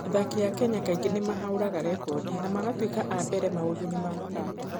Athaki a Kenya kaingĩ nĩ mahũraga rekondi na magatuĩka a mbere maũndũ-inĩ ma mathaako.